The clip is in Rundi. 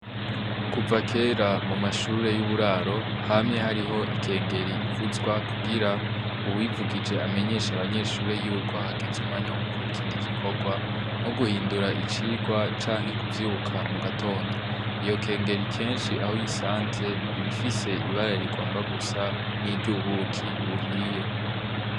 Kuva kera mu mashure y'uburaro, hamye hariho ikengeri ivuzwa kugira uwuyivugije amenyeshe abanyeshure yuko hageze umwanya wo gukora ikindi gikorwa, nko guhindura icigwa canke kuvyuka mu gatondo. Iyo kengeri kenshi aho uyisanze, iba ifise ibara rigomba gusa n'iryo ubuki buhiye.